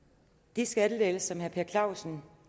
de skattelettelser herre per clausen